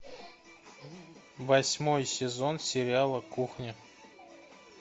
восьмой сезон сериала кухня